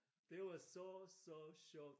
Det var så så sjovt